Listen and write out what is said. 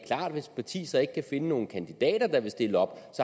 parti så ikke kan finde nogen kandidater der vil stille op